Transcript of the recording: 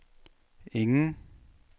ingen